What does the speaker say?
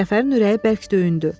Cəfərin ürəyi bərk döyündü.